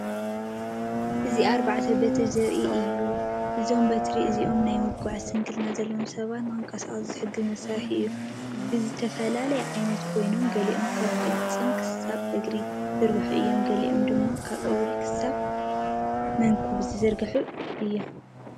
ኣብዚ ኣርባዕተ በትሪ ዘርኢ እዩ። እዞም በትሪ እዚኦም ናይ ምጉዓዝ ስንክልና ዘለዎም ሰባት ንኽንቀሳቐሱ ዝሕግዙ መሳርሒታት እዮም። ብዝተፈላለየ ዓይነታት ኮይኖም፡ ገሊኦም ካብ ቅልጽም ክሳብ እግሪ ዝዝርግሑ እዮም፡ ገሊኦም ድማ ካብ እግሪ ክሳብ መንኵብ ዝዝርግሑ እዮም።